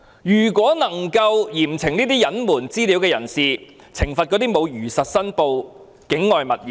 如果能夠嚴懲這些隱瞞資料、沒有如實申報持有境外物業的人......